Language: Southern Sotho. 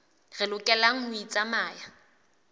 re lokelang ho e tsamaya